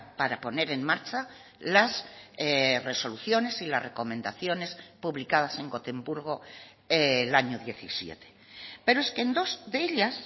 para poner en marcha las resoluciones y las recomendaciones publicadas en gotemburgo el año diecisiete pero es que en dos de ellas